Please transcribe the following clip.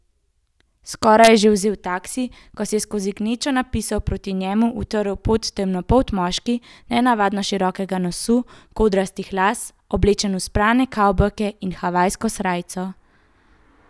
Skoraj je že vzel taksi, ko si je skozi gnečo napisov proti njemu utrl pot temnopolt moški, nenavadno širokega nosu, kodrastih las, oblečen v sprane kavbojke in havajsko srajco.